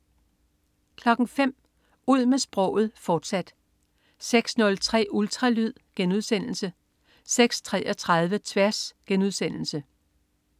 05.00 Ud med sproget, fortsat 06.03 Ultralyd* 06.33 Tværs*